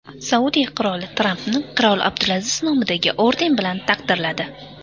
Saudiya qiroli Trampni qirol Abdulaziz nomidagi orden bilan taqdirladi.